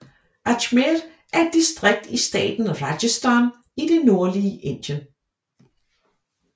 Ajmer er et distrikt i staten Rajasthan i det nordlige Indien